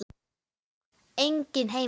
Enginn heima.